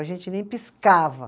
A gente nem piscava.